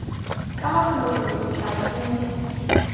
ka mafolofolo setšhaba se mo